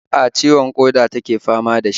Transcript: A'a, ciwon ƙoda take fama da shi